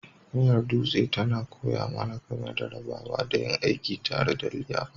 Miyar Dutse tana koya mana game da rabawa da yin aiki tare don liyafa.